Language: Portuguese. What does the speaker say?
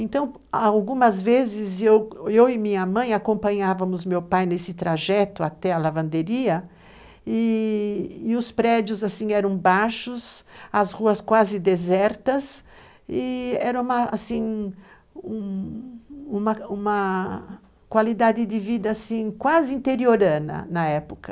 Então, algumas vezes, eu, eu e minha mãe acompanhávamos meu pai nesse trajeto até a lavanderia, e os prédios eram baixos, as ruas quase desertas, e era uma assim, uma uma qualidade de vida quase interiorana na época.